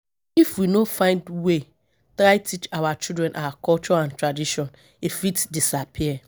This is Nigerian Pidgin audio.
If we no find way try teach our children our culture and tradition, e fit disappear.